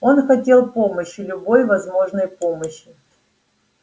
он хотел помощи любой возможной помощи